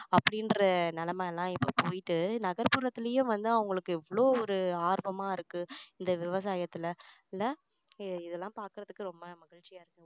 அப்படின்ற நிலைமை எல்லாம் இப்போ போயிட்டு நகர்புரத்துலயே வந்து அவங்களுக்கு எவ்வளோ ஒரு ஆர்வமா இருக்கு இந்த விவசாயத்துல இல்ல இதெல்லாம் பார்க்கறதுக்கு ரொம்ப மகிழ்ச்சியா இருக்கு